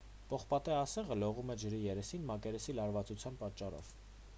պողպատե ասեղը լողում է ջրի երեսին մակերեսի լարվածության պատճառով